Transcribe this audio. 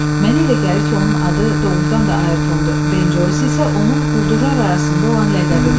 Mənə elə gəlir ki, onun adı doğurdan da Ayrtondu, Ben Joys isə onun quldurlar arasında olan ləqəbidir.